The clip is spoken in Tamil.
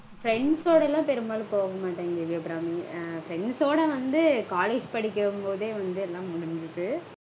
Friends ஓடலாம் பெரும்பாலும் போக மாட்டேங் தேவி அபிராமி. Friends ஓட வந்து college படிக்கும்போதே வந்து எல்லாம் முடிஞ்சுது